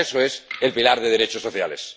Para eso es el pilar de derechos sociales.